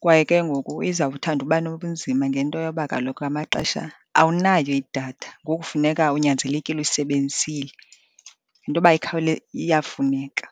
kwaye ke ngoku izawuthanda uba nobunzima ngento yoba kaloku ngamaxesha awunayo idatha, ngoku funeka unyanzelekile uyisebenzisile. Yinto yoba iyafuneka.